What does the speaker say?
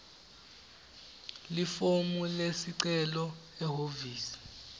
lifomu lesicelo ehhovisi